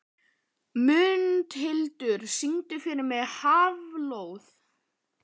Mundhildur, syngdu fyrir mig „Háflóð“.